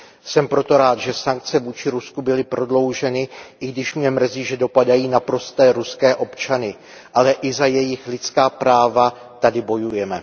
Jsem proto rád, že sankce vůči Rusku byly prodlouženy, i když mě mrzí, že dopadají na prosté ruské občany ale i za jejich lidská práva tady bojujeme.